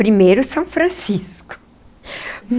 Primeiro, São Francisco.